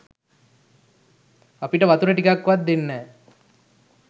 අපිට වතුර ටිකක් වත් දෙන්නෑ.